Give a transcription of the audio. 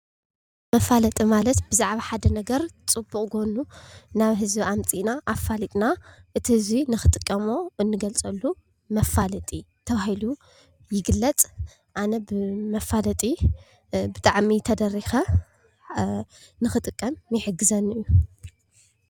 መፋለጢ ማለት ብዛዕባ ሓደ ነገር ፅቡቅ ጎኑ ናብ ህዝቢ ኣምፂእና ኣፋሊጥና እቲ ህዝቢ ንክጥቀሞ ነፋልጠሉ ፅቡቅ ጎኑ ዝገልፀሉ መፋለጢ ይበሃል ኣነ ብመፋለጢ ብጣዕሚ ተደሪከ ንክጥቀም ይሕግዘኒ ፡፡